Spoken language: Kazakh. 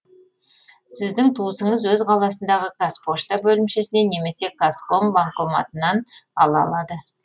сіздің туысыңыз өз қаласындағы қазпошта бөлімшесіне немесе казком банкоматынан ала алады